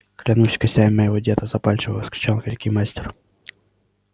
клянусь костями моего деда запальчиво вскричал великий мастер